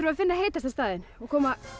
að finna heitasta staðinn og koma